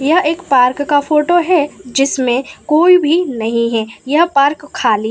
यह एक पार्क का फोटो है जिसमें कोई भी नहीं है यह पार्क खाली --